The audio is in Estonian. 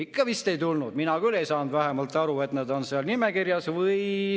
Ikka vist ei tulnud, vähemalt mina küll ei saanud aru, kas nad on seal nimekirjas.